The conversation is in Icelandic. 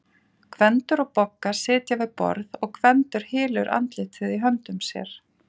Gvendur og Bogga sitja við borð og Gvendur hylur andlitið í höndum sér.